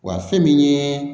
Wa fɛn min ye